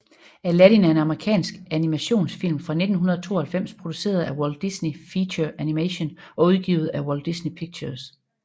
Aladdin er en amerikansk animationsfilm fra 1992 produceret af Walt Disney Feature Animation og udgivet af Walt Disney Pictures